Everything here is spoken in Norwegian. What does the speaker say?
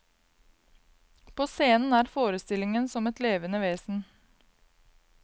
På scenen er forestillingen som et levende vesen.